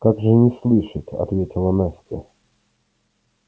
как же не слышать ответила настя